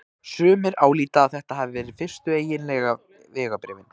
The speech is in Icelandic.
Sumir álíta að þetta hafi verið fyrstu eiginlegu vegabréfin.